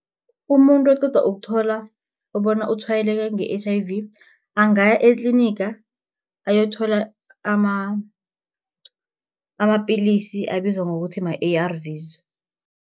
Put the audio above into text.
Umuntu oqeda ukuthola bona utshwayeleke nge-H_I_V, angaya etliniga ayokuthola amapillisi abizwa ngokuthi ma-A_R_V's.